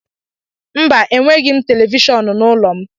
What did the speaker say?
Mba, enweghị m televishọn n'ụlọ m